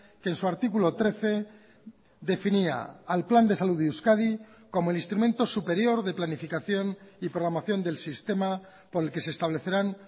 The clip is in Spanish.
que en su artículo trece definía al plan de salud de euskadi como el instrumento superior de planificación y programación del sistema por el que se establecerán